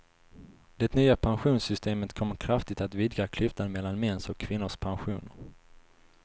Det nya pensionssystemet kommer kraftigt att vidga klyftan mellan mäns och kvinnors pensioner.